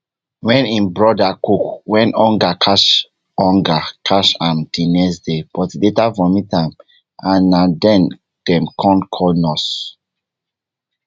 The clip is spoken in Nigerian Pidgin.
wey im broda cook wen hunger catch hunger catch am di next day but e later vomit am and na den dem kon call nurse